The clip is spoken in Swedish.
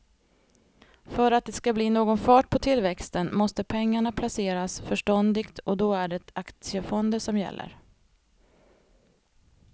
För att det ska bli någon fart på tillväxten måste pengarna placeras förståndigt och då är det aktiefonder som gäller.